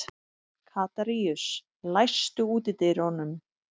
Katarínus, læstu útidyrunum.